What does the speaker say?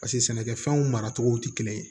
Paseke sɛnɛkɛfɛnw maracogo tɛ kelen ye